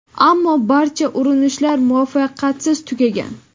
ammo barcha urinishlar muvaffaqiyatsiz tugagan.